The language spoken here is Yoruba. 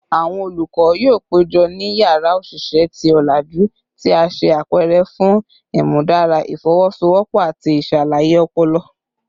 Awọn olukọ yoo pejọ ni yara oṣiṣẹ ti olaju ti a ṣe apẹrẹ fun imudara ifowosowopo ati iṣalaye ọpọlọ